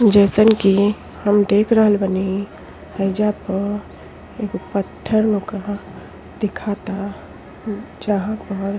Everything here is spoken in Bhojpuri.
जइसन कि हम देख रहल बानी हईजा प एगो पत्थर नोका दिखाता जहां पर --